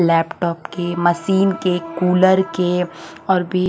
laptop के machine के cooler के और भी--